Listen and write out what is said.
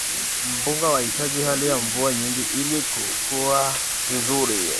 Mpunga unahitaji hali ya mvua nyingi ili kukua vizuri.